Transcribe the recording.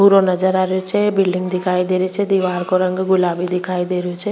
भूरो नजर आ रो छे बिलडिंग दिखाई दे रही छे दिवार का रंग गुलाबी दिखाई दे रो छे।